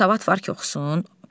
Savad var ki, oxusun?